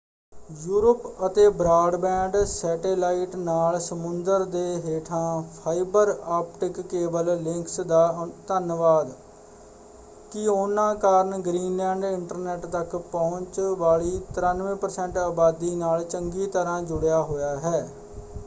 Europe ਅਤੇ broadband satellite ਨਾਲ ਸਮੁੰਦਰ ਦੇ ਹੇਠਾਂ ਫਾਈਬਰ ਆਪਟਿਕ ਕੇਬਲ ਲਿੰਕਸ ਦਾ ਧੰਨਵਾਦ ਕਿ ਉਹਨਾਂ ਕਾਰਨ ਗ੍ਰੀਨਲੈਂਡ ਇੰਟਰਨੈੱਟ ਤੱਕ ਪਹੁੰਚ ਵਾਲੀ 93% ਆਬਾਦੀ ਨਾਲ ਚੰਗੀ ਤਰ੍ਹਾਂ ਜੁੜਿਆ ਹੋਇਆ ਹੈ।